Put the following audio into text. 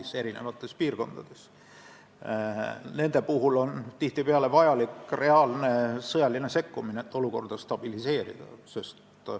Nende rühmituste ja üksuste puhul, kes sõna otseses mõttes võimutsevad näiteks Mali eri piirkondades, on tihtipeale vaja reaalset sõjalist sekkumist, et olukorda stabiliseerida.